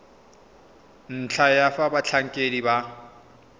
ntlha ya fa batlhankedi ba